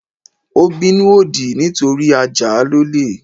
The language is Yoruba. Ó bínú òdì nítorí a Jáà lólè.